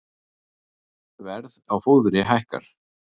Verð á fóðri hækkar